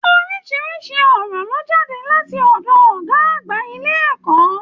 Orisirisi ọ̀rọ̀ lo jade láti ọdọ ọgá àgbà ilé ẹ̀kọ́.